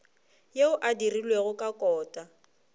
yeo e dirilwego ka kota